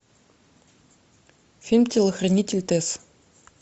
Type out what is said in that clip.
фильм телохранитель тесс